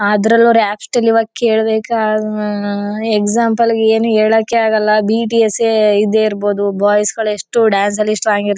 ಅದರಲ್ ಅವರು ಕೇಳ್ಬೇಕೆ ಆದ್ರೆ ಎಜಿಝಮ್ಪ್ಲೆ ಏನೋ ಹೇಳೋಕೆ ಆಗಲ್ಲ ಬಿಟಿಸ್ ಯೇ ಇದೆ ಇರ್ಬಹುದು ಬಾಯ್ಸ್ ಗಳು ಎಷ್ಟೋ ಡಾನ್ಸ್ ಅಲ್ಲಿ ಸ್ಟ್ರಾಂಗ್ --